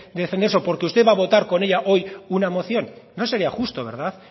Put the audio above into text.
de defender eso porque usted va a votar con ella hoy una moción no sería justo verdad